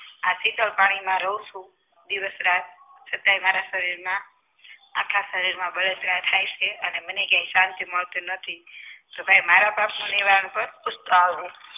આથી તો પાણી માં રહું છું દિવસ-રાત તો કોઈ મારા શરીરમાં આખા શરીરમાં બળતરા થાય છે અને મને ક્યાંય શાંતિ મળતી તો ભાઈ મારા પાપનું નિવારણ કર પૂછતો આવજે